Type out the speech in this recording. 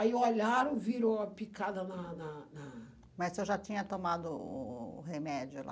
Aí olharam, viram a picada na na na... Mas o senhor já tinha tomado o o o remédio lá?